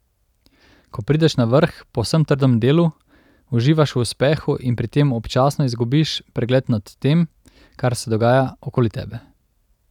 Ko prideš na vrh po vsem trdem delu, uživaš v uspehu in pri tem občasno izgubiš pregled nad tem, kar se dogaja okoli tebe.